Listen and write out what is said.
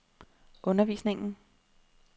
undervisningen